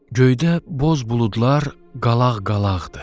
Göydə boz buludlar qalaq-qalaqdır.